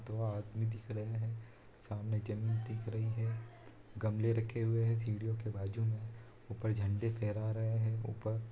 वह आदमी दिख रहे हैं सामने जमीन दिख रही है गमले रखे हुए हैं सीडीओ के बाजू में ऊपर झंडा फैला रहे हैं ऊपर --